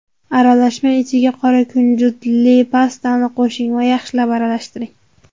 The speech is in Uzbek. Aralashma ichiga qora kunjutli pastani qo‘shing va yaxshilab aralashtiring.